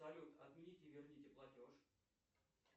салют отмените и верните платеж